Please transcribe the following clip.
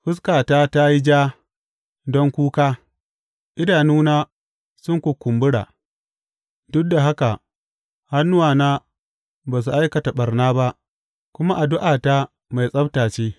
Fuskata ta yi ja don kuka idanuna sun kukumbura; duk da haka hannuwana ba su aikata ɓarna ba kuma addu’ata mai tsabta ce.